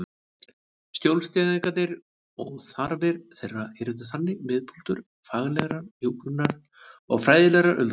Skjólstæðingarnir og þarfir þeirra yrðu þannig miðpunktur faglegrar hjúkrunar og fræðilegrar umræðu.